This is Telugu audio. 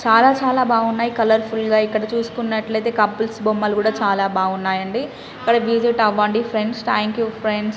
చాలా చాలా బగ్గునై కలర్ఫుల్ గ ఇక్కడ చూసినట్టు ఐతే కపుల్స్ బొమ్మలు కూడా చాలా బాగున్నాయి అంది విసిట్ అవ్వదని ఫ్రెండ్స్ ఠంక్ యు ఫ్రెండ్స్